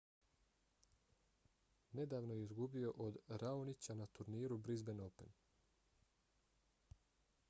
nedavno je izgubio od raonića na turniru brisban open